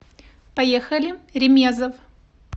поехали ремезов